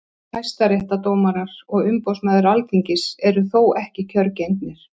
hæstaréttardómarar og umboðsmaður alþingis eru þó ekki kjörgengir